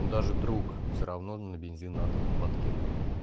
даже друг все равно на бензин надо бы подкинуть